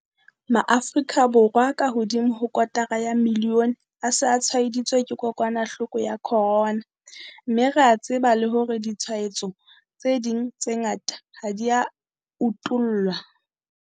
Maafrika Borwa a kahodimo ho kotara ya milione a se a tshwaeditswe ke kokwanahloko ya corona, mme re a tseba le hore ditshwaetso tse ding tse ngata ha di a utollwa.